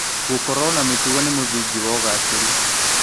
Gũkorwo na mĩtugo nĩ mũthingi wa ũgacĩĩru.